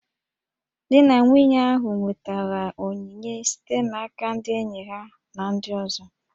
Di na nwunye ahụ nwetara onyinye site n'aka ndị enyi ha na ndị ọzọ